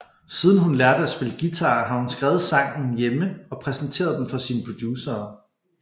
Siden hun lærte at spille guitar har hun skrevet sangen hjemme og præsenteret dem for sine producerer